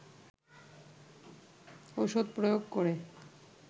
ওষুধ প্রয়োগ করে